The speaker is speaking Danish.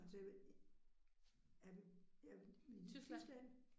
Det jamen jamen i Tyskand